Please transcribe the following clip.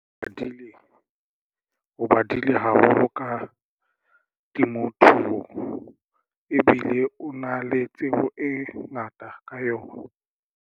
O badile o badile haholo ka temothuo ebile o na le tsebo e ngata ka yona.